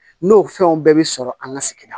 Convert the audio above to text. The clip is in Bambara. N'o fɛnw bɛɛ bi sɔrɔ an ka sigida